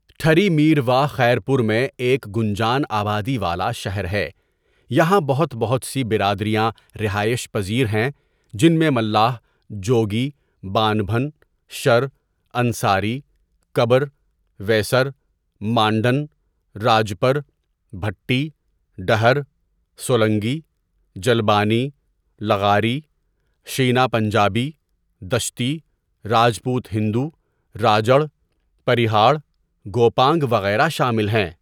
ٹھری میرواہ خیرپور میں ایک گُنجان آبادی والا شہر ہے یہاں بہت بہت سی برادریاں رہائش پزیر ہیں جن میں ملاح، جوگی، بانبھن، شر، انصاری، کبر، ویسر، مانڈن، راجپر، بھٹی، ڈہر، سولنگی، جلبانی، لغاری، شینا پنجابی ،دشتی، راجپوت هندو، راجڑ، پرہیاڑ، گوپانگ وغیرہ شامل ہیں.